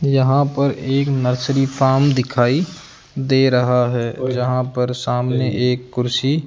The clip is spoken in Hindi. यहां पर एक नर्सरी फार्म दिखाई दे रहा है जहां पर सामने एक कुर्सी।